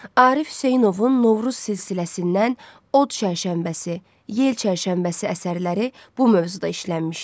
Arif Hüseynovun Novruz silsiləsindən Od Çərşənbəsi, Yel Çərşənbəsi əsərləri bu mövzuda işlənmişdi.